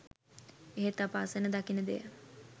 එහෙත් අප අසන දකින දෙය